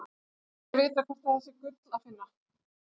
Ekki er vitað hvort þar sé gull að finna.